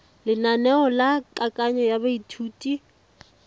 lenaneo la kananyo ya baithuti